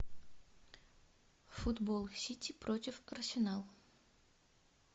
футбол сити против арсенал